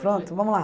Pronto, vamos lá.